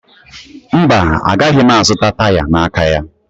Mba, agaghị m azụta taya n'aka ya